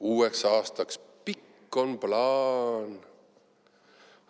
Uueks aastaks pikk on plaan …